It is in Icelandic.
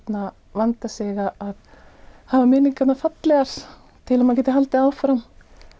vanda sig að hafa minningarnar fallegar til að maður geti haldið áfram